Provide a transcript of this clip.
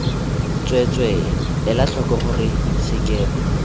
tsweetswee ela tlhoko gore sekema